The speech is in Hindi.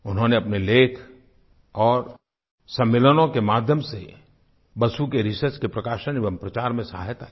उन्होंने अपने लेख और सम्मेलनों के माध्यम से बसु के रिसर्च के प्रकाशन एवं प्रचार में सहायता की